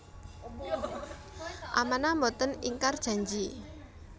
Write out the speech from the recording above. Amanah Mboten ingkar janji